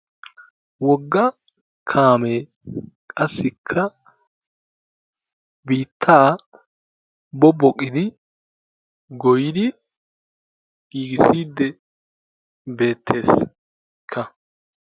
wogga kaamee qassikka biittaa bobboqidi goyyidi giigissiiddi beettees.